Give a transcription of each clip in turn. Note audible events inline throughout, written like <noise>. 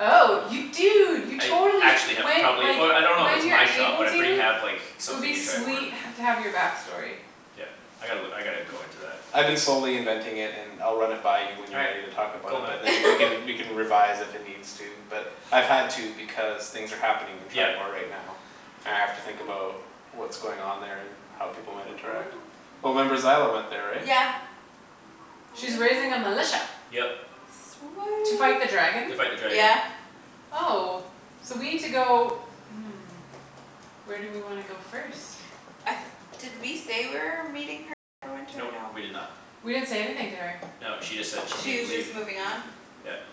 Oh you I dunno dude you I totally actually sh- have when probably like oh I don't know if When it's you're my shop able but I pretty to have like It would Something be in Triboar. sweet h- to have your back story. Yeah I gotta look I gotta go into that. I've been slowly inventing it and I'll run it by you When All you're right ready to talk about cool it man. but then we can <laughs> We can revise if it needs to but I've had to because things are happening In Yeah Triboar right now, and I have to think about What's going on there and how people might interact. <noise> Well remember Zyla went there right? Yeah Oh She's raising a militia. yeah Yep To fight the dragon? To fight the Sweet dragon. yeah Oh. So we need to go <noise> Where do we wanna go first? Uh did we say we're meeting her in Neverwinter or Nope no? we did not We didn't say anything to her. No, she just said she She needed to was leave. just moving on? Yeah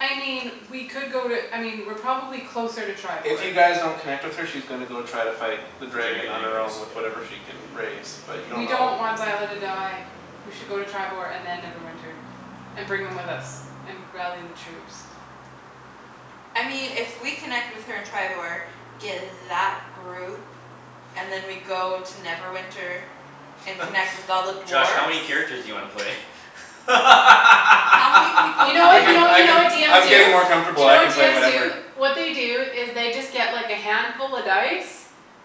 I mean we could go to I mean we're probably closer to If Triboar. you guys don't connect with her she's gonna go try to fight The The dragon dragon on her anyways own with yeah. whatever she can raise. But you don't We know don't want Zyla to die. We should go to Triboar and then Neverwinter, and bring them <noise> with us, and rally the troops. I mean if we connect with her in Triboar, get that group And then we go to Neverwinter And <laughs> connect with all the Josh how dwarves many characters do you wanna play? How many people You do know we I what you can need know you I to know what bring <laughs> can into DMs I'm do? getting more this? Do comfortable you know I can what play DMs do? whatever What they do is they just get like a handful of dice.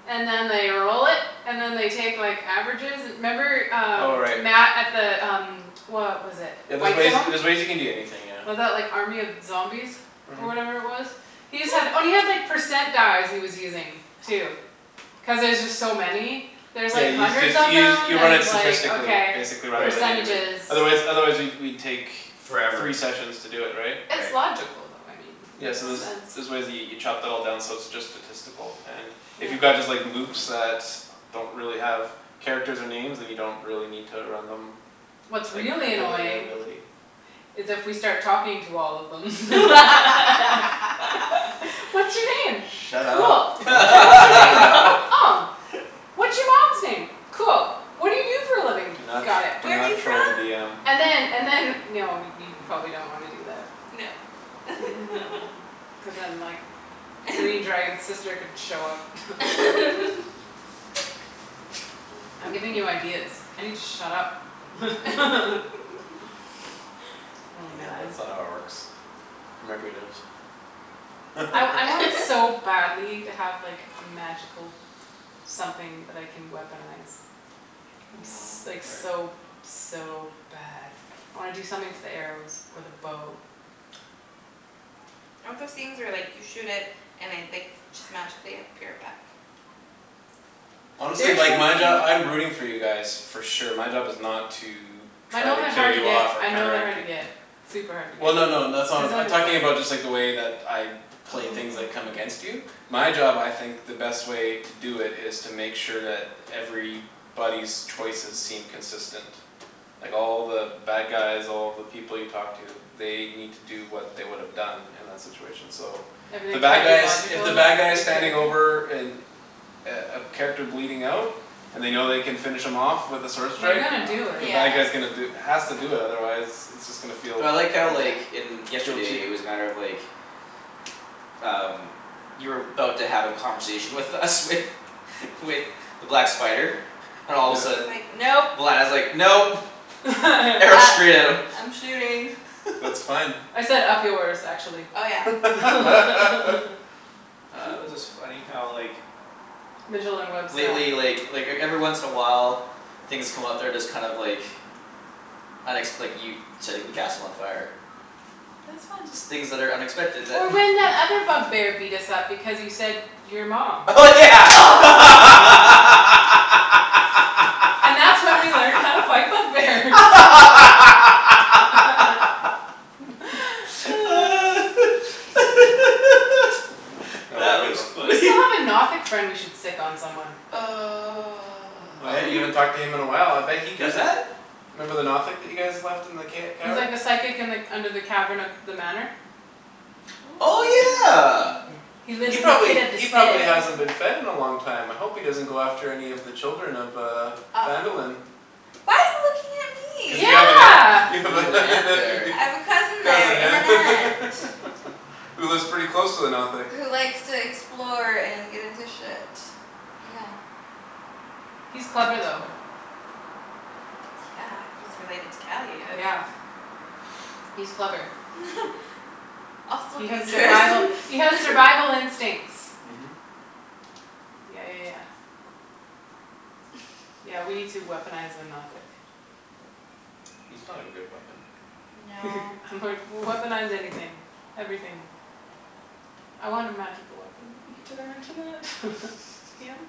And then they roll it, and then they take like averages and 'member Oh um right. Matt at the um What was it Yeah there's ways Whitestone? there's ways you can do anything yeah. Was that like army of zombies? Or Mhm whatever it was? He just had oh <noise> and he had percent dice he was using too. <noise> Cuz there's just so many There's Yeah like you hundreds just of use them you you then run it he's like statistically okay basically rather Right than individual Percentages. Otherwise otherwise we'd we'd take Forever. Three sessions to do it right? It's Right. logical though I mean Yeah makes so Mhm there's sense. there's ways you you chop that all down so it's just statistical and If you Yeah got just like Lukes that Don't really have characters or names then you don't really need to run them Like What's really <inaudible> annoying ability is if we start talking to all of them. <laughs> <laughs> <laughs> What's your name? Shut Cool. up don't give What's your them any name? id- <laughs> Oh <laughs> What's your mom's name? Cool. What do you do for a living? Do not Got it. do Where're you not troll the from? DM And then and then no we probably don't wanna do that. No <laughs> <noise> Cuz then like <laughs> Green dragon's sister could show up <laughs> <laughs> I'm giving you ideas. I need to shut up <laughs> <laughs> Oh Yeah man that's not how it works. <inaudible> I I want <laughs> so <laughs> badly to have like a magical Something that I can weaponize. I'm s- No like so <noise> so bad I wanna do something to the arrows or the bow. I want those things where like you shoot it and I like just magically appear back. Honestly There's like my job something I'm rooting for you guys. For sure my job is not to My Try know to they're kill hard to you get off or I know they're counteract hard to you get Super hard to Well no no that's get. Cuz not then I'm talking about it's like just the way that I play things that come against Oh you My job I think the best way To do it is to make sure that Everybody's choices seem consistent Like all the bad guys all the people you talk to They need to do what they would've done In that situation so The Everything's bad gotta be guys if logical the bad guys in Standing character? over an A a character bleeding out And they know they can finish him off With a sword They're strike gonna do the it. Yeah bad guy's gonna do Has to do that otherwise It's just gonna feel Well I like how like Yeah in feel yesterday it cheap was a matter of like Um You were 'bout to have a conversation with us with With the black spider and all of And a then he's sudden Yeah like, "Nope." <laughs> when I was like, "Nope", arrow Uh <laughs> straight at him I'm shooting. That's <laughs> fine I said, "Up yours", actually, Oh yeah <laughs> <laughs> Oh it was just <laughs> funny how like Mijolin Webb style. Lately like like everyone once in a while Things come up they're just kind of like Unexp- like you setting the castle on fire. That was fun Things that are unexpected that Or when that other bug bear beat us up because you said, "Your mom." Oh yeah <laughs> <laughs> <noise> And that's when we learned how to fight bug bears <laughs> <laughs> <laughs> <laughs> <noise> That was a That good was one. We funny. still have a Nothic friend we should sic on someone. <noise> Oh Uh yeah you who? haven't talked to him in a while I bet he Who's got that? Remember the Nothic that you guys left in the ca- He's like cavern? the psychic and like under the cavern of the manor. Oh yeah <noise> <noise> He lives He in the probably pit of he probably despair. hasn't been fed in a long time I hope he doesn't go after any of the children of uh Uh oh. Phandalin Why are you looking at Cuz you me? have a Yeah ne- you have You have an a aunt nephew there there I have a cousin there Cousin and an yeah aunt. <laughs> Who lives pretty close to the Nothic. Who likes to explore and get into shit. Yeah. He's That's funny. clever though. Yeah, he's related to Calius Yeah He's clever. <laughs> <noise> Also He has dangerous survival he has survival <laughs> instincts. Mhm Yeah yeah yeah <laughs> Yeah we need to weaponize the Nothic. He's not a good at weapon. No <laughs> I'm like, "Weaponize anything. Everything." I want a magical weapon. <laughs> Did I mention that? <laughs> DM?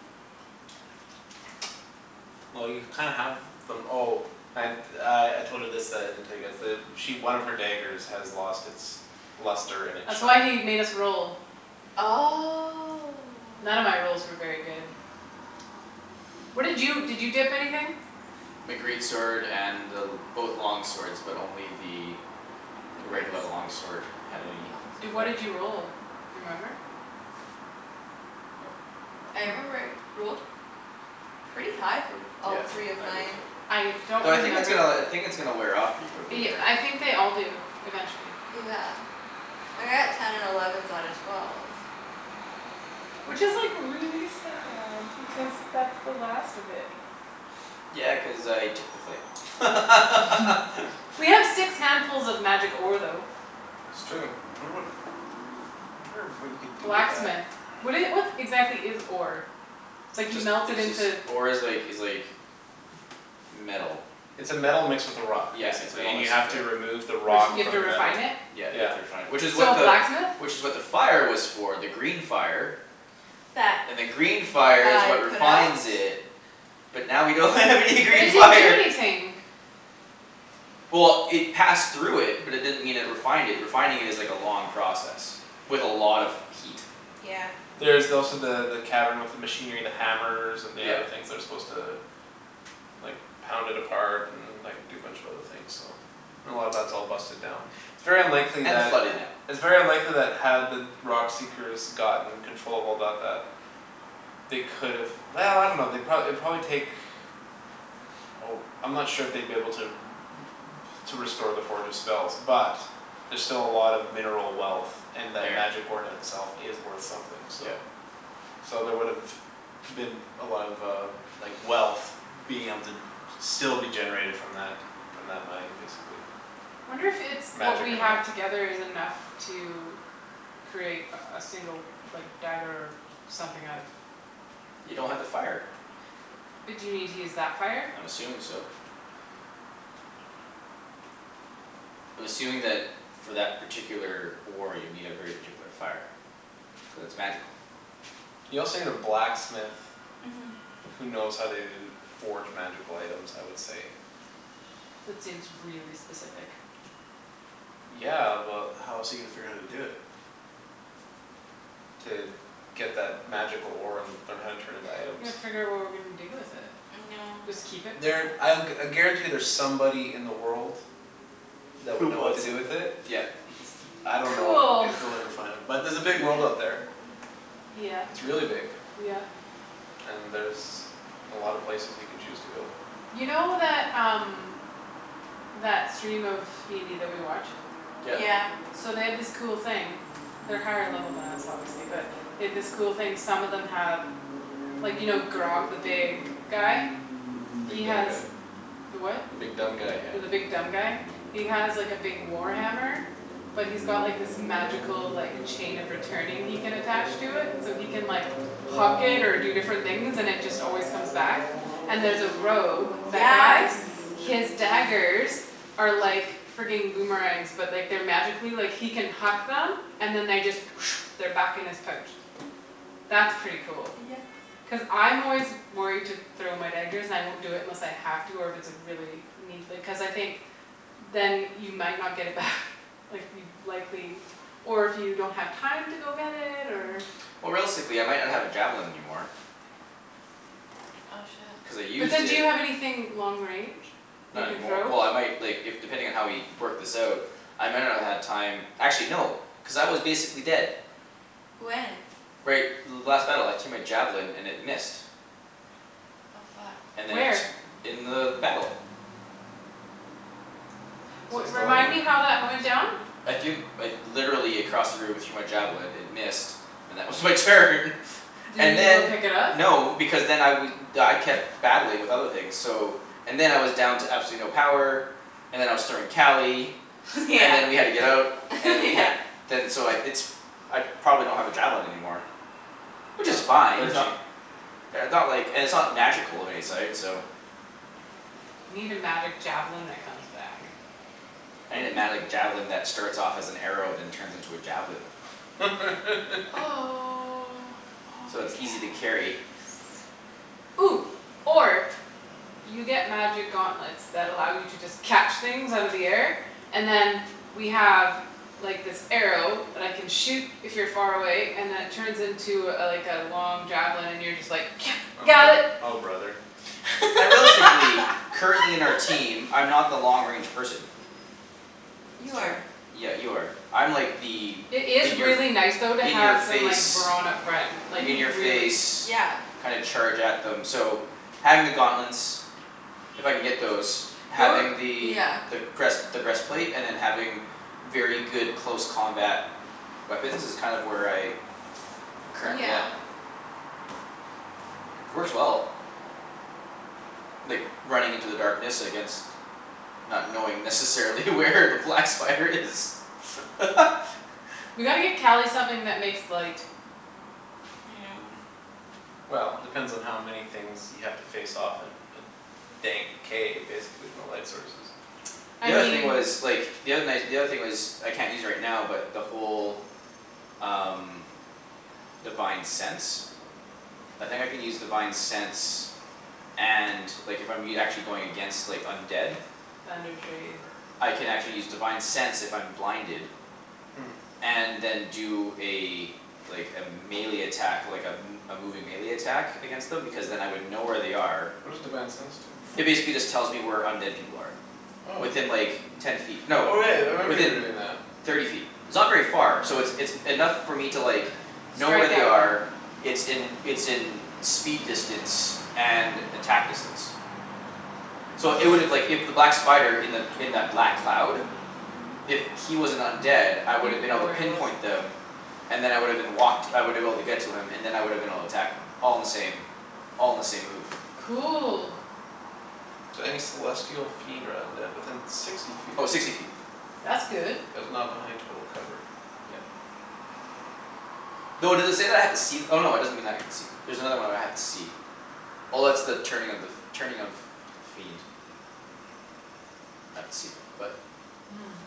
Well you kinda have them oh And uh I told her this that I didn't tell you guys the She one of her daggers has lost its Luster and its That's why shine he made us roll. None of my Oh rolls were very good. What did you did you dip anything? My great sword and both long swords but only the The The great regular long sword sword had with the any long Di- what effect. did you sword roll? Remember? Nope, I don't I remember remember. rolled Pretty high for b- all Yeah three of I did. mine. I don't Though I think it's remember uh I the think it's gonna wear off pretty quickly y- here. I think they all do eventually. Yeah Like I got ten and elevens out of twelve. Which is like really sad because that's the last of it. Yeah cuz I took the flame <laughs> <laughs> We have six handfuls of magic ore though. It's true um I wonder what I wonder what you can do with that. Blacksmith. What do you what exactly is ore? It's like you Just melt it it's just into ore is like is like Metal. It's a metal mixed with a rock Yeah, it's Basically metal and you mixed have with the to remove the Re- so rock you have From to the <noise> refine metal. it? Yeah you have Yeah to refine it which is what So the blacksmith? Which is what the fire was for the green fire That And then green fire is I what put out? refines it. But now we don't have any But it green didn't do fire <laughs> anything. Well it passed through it but it didn't mean it refined it refining is like a long process. With a lot of heat. Yeah There's <noise> also the the cavern with the Machinery the hammers and the other Yep. things They're supposed to like Pound it apart and like do a bunch of other things so And a lot of that's all busted down It's very unlikely And flooded that now. It's very unlikely that had the rock seekers gotten controllable about that They could've <noise> I dunno they'd pro- it'd probably take Oh I'm not sure if they'd be able to r- r- To restore the forge's spells but There're still a lot of mineral wealth And that There magic ore in itself is worth something so Yep So there would've been a lot of uh like wealth Being able to still be generated from that From that mine basically. Wonder if it's what Magic we or have not together is enough to Create a a single like dagger something out of You don't have the fire. But do you need to use that fire? I'm assuming so. I'm assuming that for that particular ore you need a very particular fire. Cuz it's magical. You also need a blacksmith Mhm Who knows how to forge magical items I would say. That seems really specific. Yeah but how else are you gonna figure out how to do it? To get that magical ore and learn how to turn it into items. Yeah figure out what we're gonna do with it. No Just keep it for There now? I'll I guarantee there's somebody in the world. That Who would know what to wants do it? with it. Yeah It's j- I don't know Cool if you'll ever find him. But there's a big world out Yeah there. Yeah It's really big. yeah And there's a lot of places you can choose to go. You know that um That stream of DND that we watch? Yep Yeah So they have this cool thing They're higher level than us obviously but they have this cool thing some of them have Like you know Grogg the big guy? The He big dumb has guy the what? The big dumb guy yeah. The big dumb guy? He has like a big war hammer But he's got this magical like Chain of returning he can attach to it so he can like Huck it or do different things and it just always comes back And there's a rogue that guy Yes His daggers Are like frigging boomerangs but like they're like magically like he can huck them and then they just <noise> They're back in his pouch. <noise> That's pretty cool. Yep Cuz I'm always worried to throw my daggers and I won't do it unless I have to or if it's a really need like cuz I think Then you might not get it back Like you'd likely Or if you don't have time to go get it or <noise> Or realistically I might not have a javelin anymore. Oh shit. Cuz I But used then do it you have anything long range you Not can anymor- throw? Well I might like if depending on how we work this out. I might not have had time actually no cuz I was basically dead. When? Right last battle I threw my javelin and it missed. Oh fuck And then Where? it in the battle. So Well it's still remind in the me how that went down? I threw like literally across the room I threw my javelin it missed. And that was my turn. Did And you go then pick it up? no because then I we I kept battling with other things so And then I was down to absolutely no power And then I was throwing Cali <laughs> Yeah And then we had to get out <laughs> and then we yeah had to Then so I it's I probably don't have a javelin anymore. Which is <noise> fine They're it's not cheap. they're not like and it's not magical of any sort so You need a magic javelin that comes back. I need a magic javelin that starts off as an arrow then turns into a javelin. <laughs> Oh Oh So yes it's easy to carry. <noise> Or You get magic gauntlets that allow you to just catch things out of the air And then we have like this arrow that I can shoot if you're far away and it turns into a like a long javelin and you're just like, Oh <noise> "got bro- it." oh brother. I realistically currently in our <laughs> team I'm not the long range person. You That's true. are Yeah you are. I'm like the It is in your f- really nice though to In your have some like face brawn up front. Like In Mhm your really. face yeah kind of charge at them so having the gauntlets If I can get those You're having the yeah the breast the breastplate and then having Very good close combat weapons is kind of where I I'm currently at. Yeah Mhm Works well. Like running into the darkness against Not knowing necessarily where the black spider is <laughs> We gotta get Cali something that makes light. <noise> Well depends on how many things you have to face off in a Dank cave basically with no light sources. I The other thing mean But was like the other night the other thing was I can't use right now but the whole Um divine sense I think I can use divine sense and like I'm e- actually if I'm going against undead. Thunder Tree. I can actually use divine sense if I'm blinded. Hmm And then do a Like a melee attack like a m- a moving melee attack against them because then I would know where they are What does divine sense do? It basically just tells me where undead people are. Oh Within like ten feet no Oh right I remember you were within doing that. thirty feet. It's not very far. So it's it's enough for me to like Know where Strike they at them. are it's in it's in Speed distance and attack distance So it would've like if that black spider in that in the black cloud Mhm If he was an undead I would've You'd been able know to where he was. pinpoint them. And then I would've been walked I woulda been able to get to him and then I would've been able to attack him. All in the same all in the same move. Cool So any celestial fiend or undead within sixty feet Oh of sixty you. feet. That's good. That is not behind total cover. Yeah Though does it say that I have to see no it doesn't mean I can see There's another one where I have to see. Oh that's the turning of the f- turning of Fiend. I had to see them but Hmm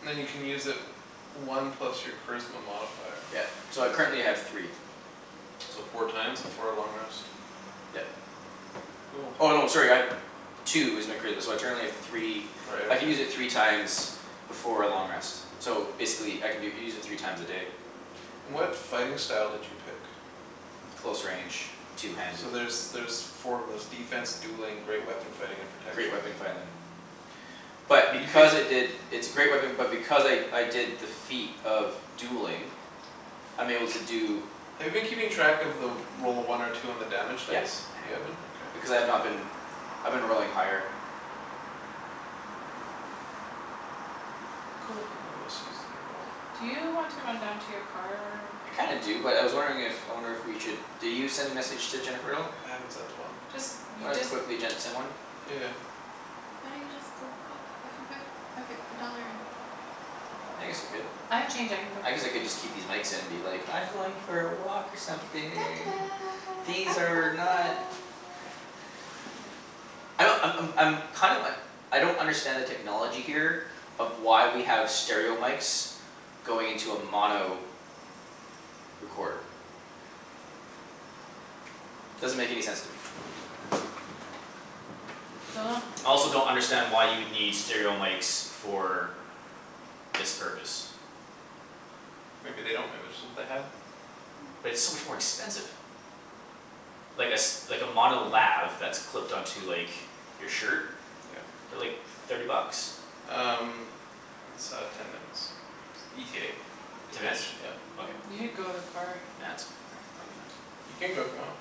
Then you can use it One plus your charisma modifier. Yeah so I currently have three. So four times before a long rest. Yep. Cool Oh no sorry I have Two is my charisma so I currently have three Right I can use okay. it three times Before a long rest. So basically I can do it u- use it three times a day. What fighting style did you pick? Close range two handed So there's there's four of those, defense, dueling, great weapon fighting, and Great protection. weapon fighting. But You because I picked did It's a great weapon but because I I did defeat of dueling I'm able to do Have you been keeping track of the roll a one or two on the damage Yes dice? I You have it up. haven't? Okay. Because I've not been. I've been rolling higher Cool Then they must use in a roll. Do you want to run down to your car? I kinda do but I was wondering if I wonder if we should did you send a message to Jennifer at all? I haven't sent one. Just Do you you wanna just quickly <inaudible> send one? Yeah yeah Why don't you just go put a few buck like a dollar in? I guess I could. I have change I can go I guess I could just keep these mics in and be like I'm going for a walk or something. These are not <noise> I don't I'm I'm I'm kind of uh I don't understand the technology here Of why we have stereo mics Going into a mono recorder. Doesn't make any sense to me. Dunno I also don't understand why you would need stereo mics for This purpose. Maybe they don't maybe just what they had. <noise> But it's so much more expensive. Like a s- like a mono <noise> lav that's clipped on to like your shirt Yeah. they're like thirty bucks. Um It's uh ten minutes ETA to Ten minutes? finish yeah. Okay. You should go to the car. Nah that's all right I'll be fine. You can go if you want.